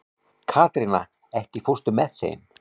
Katrína, ekki fórstu með þeim?